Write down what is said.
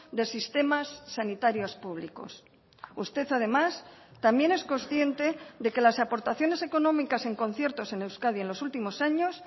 de sistemas sanitarios públicos usted además también es consciente de que las aportaciones económicas en conciertos en euskadi en los últimos años